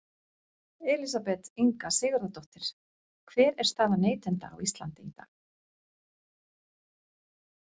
Elísabet Inga Sigurðardóttir: Hver er staða neytenda á Íslandi í dag?